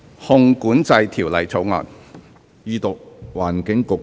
《汞管制條例草案》。